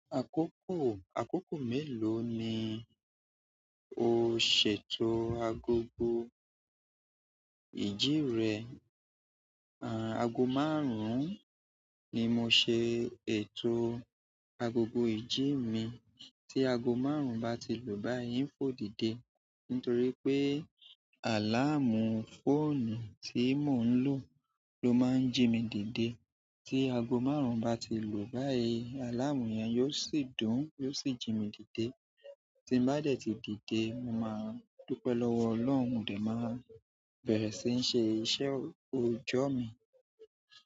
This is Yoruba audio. Àkókò, àkókò mélòó ni o ṣètò agogo ìjí rẹ? A ago márùn únni mo ṣe ètò agogo ìjí mi. Tí ago márùn-ún bá ti lù báyìí n fò dìde nítorí pé àláàmù fóònù tí mò ń lò ló máa ń jí mi dìde. Tí ago márùn-ún bá ti lù báyìí, àláàmù yẹn yóò sì dùn, yóò sì jí mi dìde. Tí n bá dẹ̀ tí dìde, mo máa dúpẹ́ lọ́wọ́ Ọlọ́run, dè má bẹ̀rẹ̀ sí ń ṣe iṣẹ́ òòjọ́ mi.